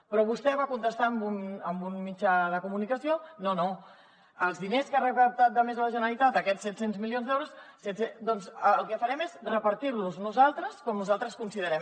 però vostè va contestar en un mitjà de comunicació no no els diners que ha recaptat de més la generalitat aquests set cents milions d’euros doncs el que farem és repartir los nosaltres com nosaltres considerem